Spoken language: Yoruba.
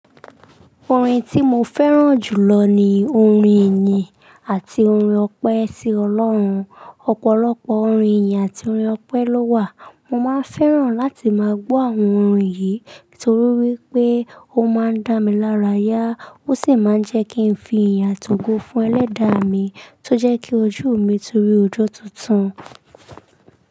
Orin tí mo fẹ́ràn jù lọ ni orin ìyìn àti orin ọpẹ́ sí Ọlọ́run. Ọ̀pọ̀lọpọ̀ orin ìyìn àti orin ọpẹ́ ló wà. Mo máa n fẹ́ràn láti máa gbọ́ àwọn orin yìí torí wípé ó máa ń dá mi lára yá, ó sì máa ń jẹ́ kí n fi ìyin ati ògò fún ẹlẹ́dàá mi tó jẹ́ kí ojú mi tun rí ọjọ́ tuntun.